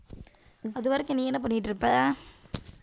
அதுவரைக்கும் நீ என்ன பண்ணிட்டு இருப்ப?